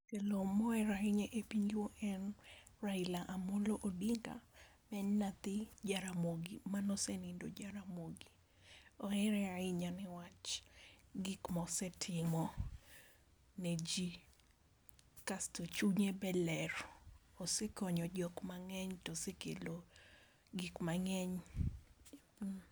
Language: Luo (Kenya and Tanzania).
Jatelo moher ahinya e piny luo en Raila Amolo Odinga ma en nyathi jaramogi manosenindo Jaramogi. Ohere ahinya newach gik mosetimo ne jii , kasto chunye be ler osekonyo jok mang'eny tosekelo gik mang'eny.